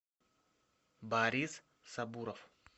борис сабуров